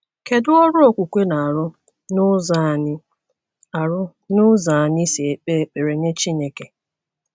Kedu ọrụ okwukwe na - arụ n’ụzọ anyị arụ n’ụzọ anyị si ekpe ekpere nye Chineke?